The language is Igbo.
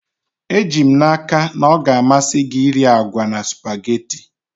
Eji m n'aka na ọ ga-amasị gị iri agwa na spugeetí